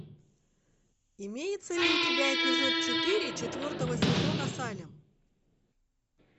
имеется ли у тебя эпизод четыре четвертого сезона салем